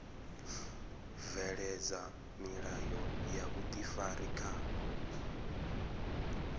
bveledza milayo ya vhuifari kha